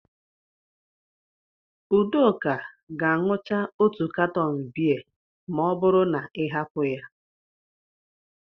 Udoka ga-aṅucha otu katọn bịa ma ọ bụrụ na ị hapụ ya.